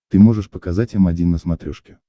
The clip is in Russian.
ты можешь показать м один на смотрешке